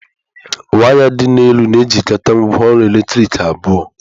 Waya dị n'elu na-ejikọta ngwaọrụ eletrik abụọ.